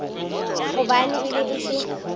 gobane e be e se